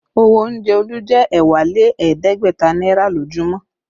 Owó oúnjẹ Olu jẹ ẹ̀wá lé ẹ̀ẹ́dẹ́gbẹ̀ta náírà lójúmọ́